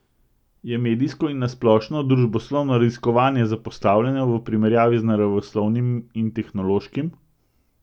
Je medijsko in na splošno družboslovno raziskovanje zapostavljeno v primerjavi z naravoslovnim in tehnološkim?